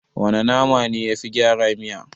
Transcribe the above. Wana nama ne yafi gyara miya?